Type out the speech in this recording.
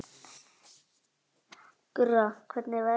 Gurra, hvernig er veðrið úti?